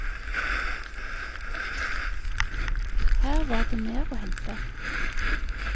Her var det mer å hente.